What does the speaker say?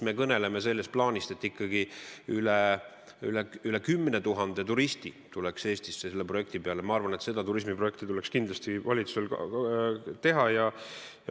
Me kõneleme ju sellest, et ikkagi üle 10 000 turisti tuleks Eestisse selle projekti tõttu, ja ma arvan, et see turismiprojekt tuleks valitsusel kindlasti ära teha.